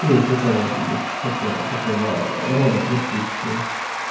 или ещё кого-нибудь такого такого рода профессии